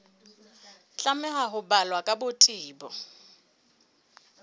tlameha ho balwa ka botebo